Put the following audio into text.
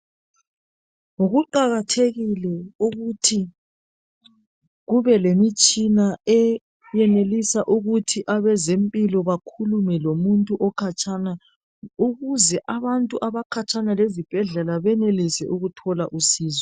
Kuqakathekile ukuthi kubelemitshina eyenelisa ukuthi abezempilo bakhulume lomuntu okhatshana ukuze abantu abakhatshana lezibhedlela benelise ukuthola usizo.